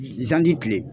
Zandi kilen